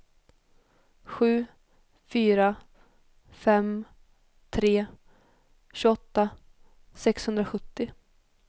sju fyra fem tre tjugoåtta sexhundrasjuttio